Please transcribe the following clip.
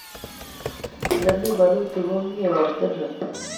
ole mi bolutik komie ortinwek